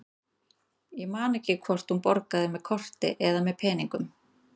Ég man ekki hvort hún borgaði með korti eða með peningum.